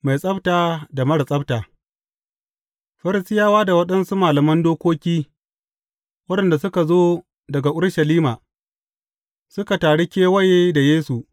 Mai tsabta da marar tsabta Farisiyawa da waɗansu malaman dokoki waɗanda suka zo daga Urushalima, suka taru kewaye da Yesu.